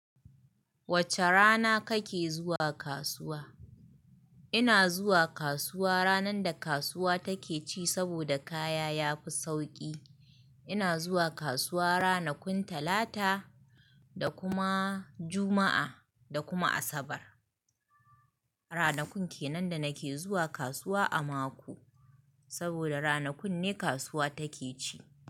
Wace rana kake zuwa kasuwa? Ina zuwa kasuwa ranar da kasuwa take ci saboda kaya ya fi sauƙi. Ina zuwa kasuwa ranakun Talata, da kuma Juma'a, da kuma Asabar. Ranakun kenan da nake zuwa kasuwa a mako. Saboda ranakun ne kasuwa take ci.